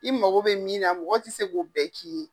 I mako bɛ min na mɔgɔ te se k'o bɛɛ k'i ye.